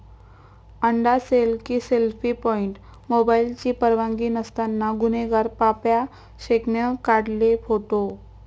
अंडा सेल की selfie point? मोबाईलची परवानगी नसताना गुन्हेगार पाप्या शेखनं काढले फोटो